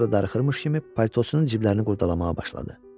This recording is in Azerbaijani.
Sonra da darıxmış kimi paltosunun cibləri ilə qurdalamağa başladı.